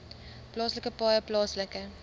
plaaslike paaie plaaslike